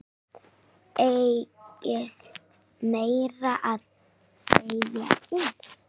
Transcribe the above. Beygist meira að segja eins!